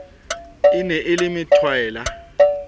e ne e le methwaela